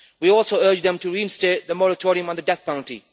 We also urge them to reinstate the moratorium on the death penalty.